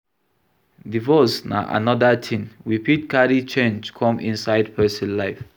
Divorce na anoda thing we fit carry change come inside person life